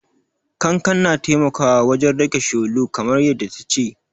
Kankan na taimakawa wajen rage tsholo, kamar yadda ta ce.